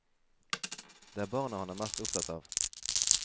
Det er barna han er mest opptatt av.